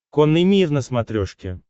конный мир на смотрешке